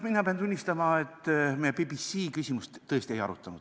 Mina pean tunnistama, et me BBC küsimust tõesti ei arutanud.